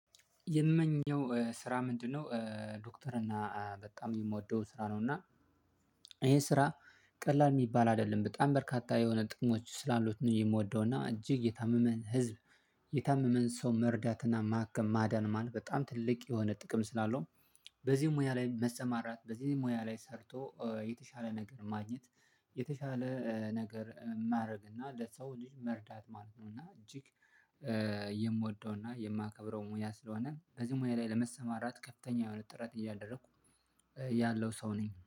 የምመኘው ስራ ምንድነው ዶክተር እና በጣም የምወደው ስራ ነው። እና ይሄ ስራ ቀላል የሚባል አይደለም በጣም በርካታ የሆነ ጥቅሞች ስላሉት ነው የምወደው፣ እና እጅግ የታመመን ህዝብ የታመመን ሰው መርዳትና ማከም ማዳን ማለት በጣም ትልቅ የሆነ ጥቅም ስላለው በዚህ ሙያ ላይ መሰማራት፣ በዚህ ሙያ ላይ ሰርቶ የተሻለ ነገር ማግኘት፣ የተሻለ ነገር ማድረግ፣ እና ለሰው ልጅ መርዳት ማለት ነው። እና እጅግ የምወደው እና የማከብረው ሙያ ስለሆነ በዚህ ሙያ ላይ ለመሰማራት ከፍተኛ የሆነ ጥራት እያደረኩ ያለው ሰው ነኝ።